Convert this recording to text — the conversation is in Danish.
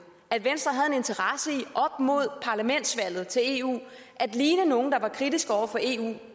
at venstre op mod parlamentsvalget til eu i at ligne nogle der var kritiske over for eu